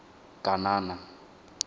kanana